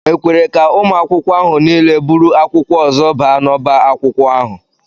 E kwere ka ụmụ akwụkwọ ahụ niile buru akwụkwọ ọzọ baa n'ọbá akwụkwọ ahụ?